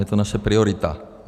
Je to naše priorita.